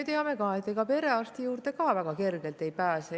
Me ju teame ka, et ega perearsti juurde väga kergelt ei pääse.